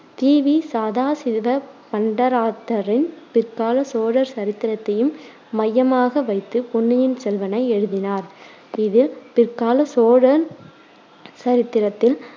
தி வி சதாசிவப் பண்டராத்தாரின் பிற்காலச் சோழர் சரித்திரத்தையும் மையமாக வைத்து பொன்னியின் செல்வனை எழுதினார் இது பிற்காலச் சோழர் சரித்திரத்தில்